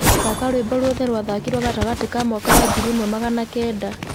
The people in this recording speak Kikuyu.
thaka rwĩmbo ruothe rwa thakirwo gatagati ka mwaka wa ngiri ĩmwe magana kenda